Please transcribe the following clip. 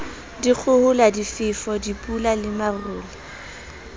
dikgohola difefo dipula le marole